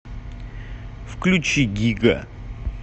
включи гига